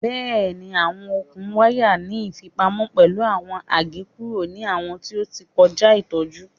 Bẹẹni, awọn okun waya ni ifipamo pẹlu awọn agekuru ni awọn ti o ti kọja itọju